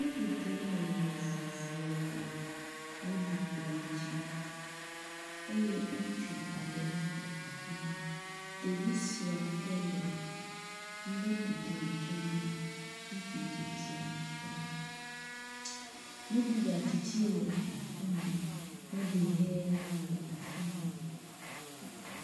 Nuɖuɖu nɔnɔme vovo le nuɖukplɔ dzi eye ŋutsu aɖe hã le afima, ɖevi suɛ aɖe le nuɖuɖu tsɔ na ŋutsutsitsia la. Nuɖu gatsi hã le afima, nuɖu hɛ hã le afima.